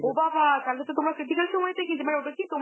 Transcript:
ও বাবা! তাহলে তো তোমরা critical সময় তে গেছিলে, মানে ওটা কি তোমরা